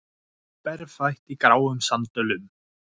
Berfætt í gráum sandölum.